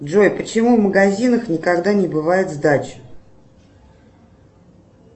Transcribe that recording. джой почему в магазинах никогда не бывает сдачи